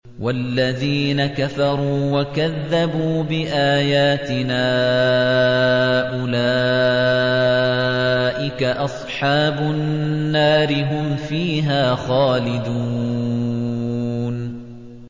وَالَّذِينَ كَفَرُوا وَكَذَّبُوا بِآيَاتِنَا أُولَٰئِكَ أَصْحَابُ النَّارِ ۖ هُمْ فِيهَا خَالِدُونَ